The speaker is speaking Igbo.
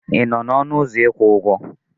Ị nọ n'ọnụ ụzọ ịkwụ ụgwọ?